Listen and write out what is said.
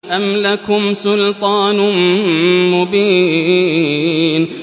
أَمْ لَكُمْ سُلْطَانٌ مُّبِينٌ